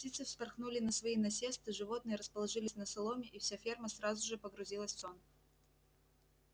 птицы вспорхнули на свои насесты животные расположились на соломе и вся ферма сразу же погрузилась в сон